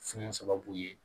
Fiɲɛ sababu ye